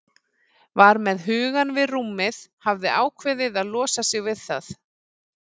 Var með hugann við rúmið, hafði ákveðið að losa sig við það.